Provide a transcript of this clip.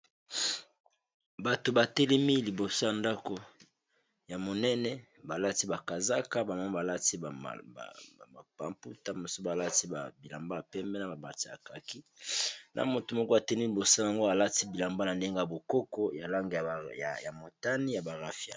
Bato batelemi liboso ya ndako ya monene balati bakazaka bamoma balati pamputa moso balati ba bilamba ya pembe na babati akaki na moto moko atelemi liboso yango alati bilamba na ndenge ya bokoko ya lange ya motani ya barafia.